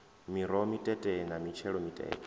miroho mitete na mitshelo mitete